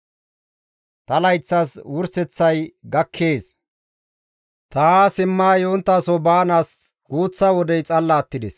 «Ta layththas wurseththay gakkees; ta haa simma yonttaso baanaas guuththa wodey xalla attides.